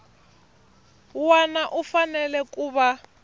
wana u fanele ku va